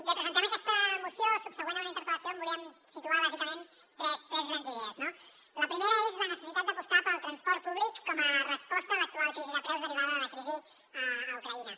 bé presentem aquesta moció subsegüent a una interpel·lació on volíem situar bàsicament tres grans idees no la primera és la necessitat d’apostar pel transport públic com a resposta a l’actual crisi de preus derivada de la crisi a ucraïna